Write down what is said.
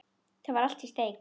Það var allt í steik.